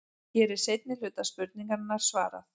Hér er seinni hluta spurningarinnar svarað.